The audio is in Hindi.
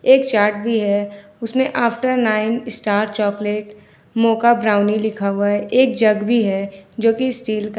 एक चार्ट भी है जिसमें after nine star chocolate mocha brownie लिखा हुआ है एक जग भी है जो कि स्टील का है।